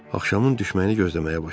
Axşamın düşməni gözləməyə başladı.